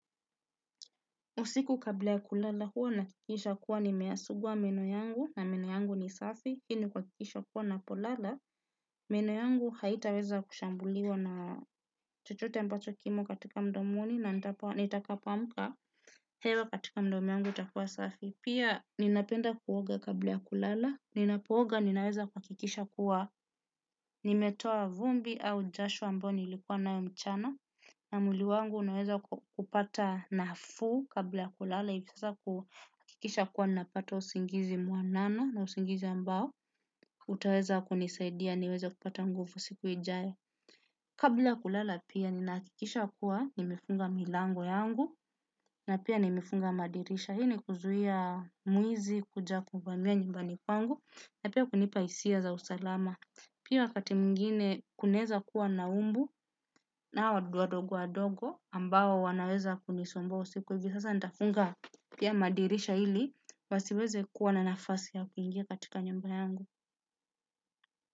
Usiku kabla ya kulala, hua na akikisha kuwa nimeyasugua meno yangu na meno yangu ni safi, ili kwakikisha kuwa napolala, meno yangu haitaweza kushambuliwa na chochote ambacho kimo katika mdomoni na nitakapoamka, hewa katika mdomo yangu itakua safi. Pia, ninapenda kuoga kabla ya kulala, ninapooga ninaeza kuakikisha kuwa, nimetoa vumbi au jasho ambao niilikuwa nao mchana. Na mwili wangu unaweza kupata nafuu. Kabla ya kulala, ipasa kuakikisha kuwa napata usingizi mwanana na usingizi ambao, utaweza kunisaidia niweza kupata nguvu siku ijae. Kabla kulala pia, ninakikisha kuwa nimefunga milango yangu, na pia nimeifunga madirisha. Hii ni kuzuia mwizi kuja kuvamia nyumbani kwangu na pia kunipa isia za usalama. Pia wakati mwingine, kuna eza kua na umbu nao wadudu wadogo wadogo, ambao wanaeza kunisumbua usiku. Sasa nitafunga pia madirisha hili, wasiweze kuwa na nafasi ya kuingia katika nyumba yangu.